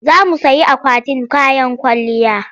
Za mu sayi akwatin kayan kwalliya.